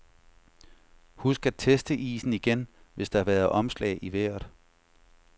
Husk at teste isen igen, hvis der har været omslag i vejret.